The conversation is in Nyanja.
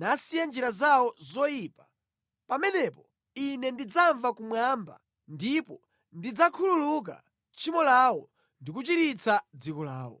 nasiya njira zawo zoyipa, pamenepo Ine ndidzamva kumwamba ndipo ndidzakhululuka tchimo lawo ndi kuchiritsa dziko lawo.